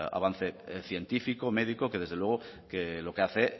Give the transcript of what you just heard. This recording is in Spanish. avance científico médico que desde luego que lo que hace